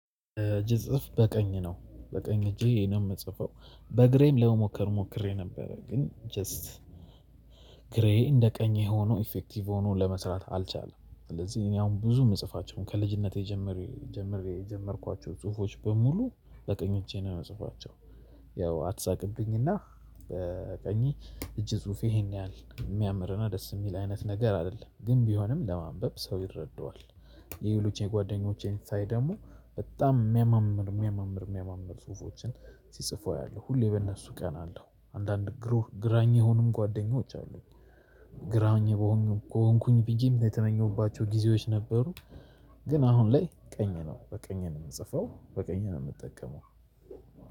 እጅ ጽፍ በቀኝ ነው በቀኝ እጄ ነው የምጽፈው በእግሬም ለመሞከር ሞክሬ ነበረ ግን ጀስት እግሬ እንደ ቀኝ ሆኖ ኢፌክቲቭ ሆኖ ለመስራት አልቻለም። ስለዚህ እኔ አሁን ብዙ የምጽፋቸውን ከልጅነቴ ጀምሬ ጀምሬ የጀመርኳቸው ጽሁፎች በሙሉ በኝ እጄ ነው የምጽፌቸው። ያው አትሳቅብኝና በቀኝ እጅ እጅ ጽሁፌ ይሄን ያህል የሚያምርና ደስ የሚል አይነት ነገር አይደለም ግን ቢሆንም ለማንበብ ሰው ይረዳዋል። ይህ የሌሎቼ የጓደኞቼን ሳይ ደግሞ በጣም የሚያማምር የሚያማምር የሚያማምር ጽሁፎችን ሲጽፉ አያው ሁሌ በእነሱ ቀናለው አንዳንድ ግሩህ ግራኝ የሆኑ ጓደኞች አሉኝ። ግራኝ በሆንኩኝ ብዬም የተመኘሁባቸው ጊዜዎች ነበሩ። ግን አሁን ላይ ቀኝ ነው በቀኝ ነው የምጽፈው በቀኝ ነው የምጠቀመው።